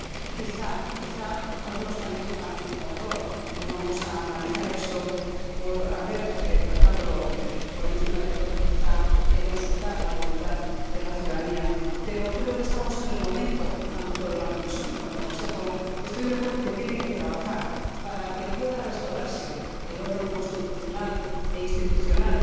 Quizá algunos califican como error —y no vamos a analizar esto— el haber tratado, por encima de todo, quizá, de consultar la voluntad de la ciudadanía. Tanto la Comisión como el Consejo estoy de acuerdo en que tienen que trabajar para que pueda restaurarse el orden constitucional e institucional